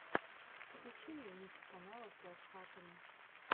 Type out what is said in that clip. включи мне микс канала с лайфхаками